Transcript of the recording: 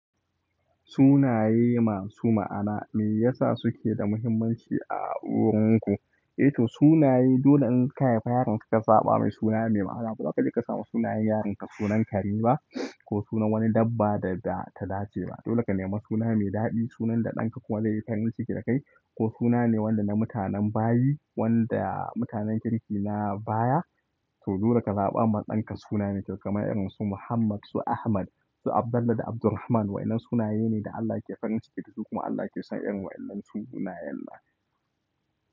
Sunaye masu ma'ana me yasa suke da muhimmanci a wurin ku. Sunaye dole in ka haifi yaronka ka zaɓa masa suna me ma'ana ba za kaje ka samu sunayen yaranka sunan kare ba ko suna wani dabba da ta dace ba. Dole ka nema suna mai daɗi, sunan da ɗanka kuma zai yi farin ciki da kai ko suna ne wanda na mutanen bayi wanda mutanen kirki na baya. To dole ka zaɓa ma ɗanka suna mai kyau kamar irin su Muhammad, su Ahmad, su Abdallah da Abdulrahman. Wa'inan sunaye ne da Allah yake farin ciki da su kuma Allah yake son irin wa'inan su sunayen Allah.